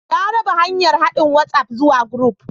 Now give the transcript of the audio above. Na raba hanyar haɗin WhatsApp zuwa group